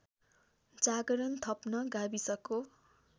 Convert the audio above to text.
जागरण थप्न गाविसको